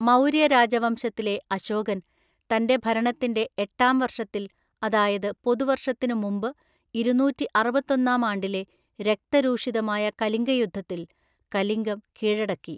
മൗര്യ രാജവംശത്തിലെ അശോകൻ തന്‍റെ ഭരണത്തിന്‍റെ എട്ടാം വർഷത്തില്‍, അതായത് പൊതുവര്‍ഷത്തിനു മുമ്പ് ഇരുനൂറ്റിഅറുപത്തൊന്നാം ആണ്ടിലെ രക്തരൂഷിതമായ കലിംഗയുദ്ധത്തിൽ, കലിംഗം കീഴടക്കി.